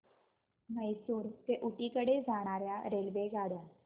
म्हैसूर ते ऊटी कडे जाणार्या रेल्वेगाड्या